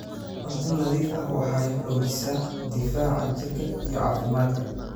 Cunto nadiif ah waxay xoojisaa difaaca jirka iyo caafimaadka.